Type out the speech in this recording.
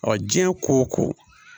Ɔ diɲɛ ko o ko